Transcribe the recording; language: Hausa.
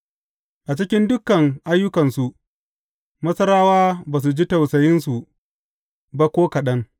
A cikin dukan ayyukansu, Masarawa ba su ji tausayinsu ba ko kaɗan.